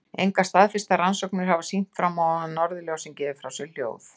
Engar staðfestar rannsóknir hafa sýnt fram á að norðurljósin gefi frá sér hljóð.